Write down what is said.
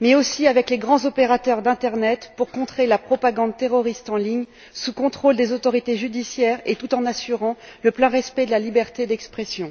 mais aussi avec les grands opérateurs de l'internet, pour contrer la propagande terroriste en ligne, sous le contrôle des autorités judiciaires et tout en assurant le plein respect de la liberté d'expression.